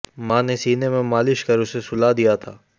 मां ने सीने में मालिश कर उसे सुला दिया था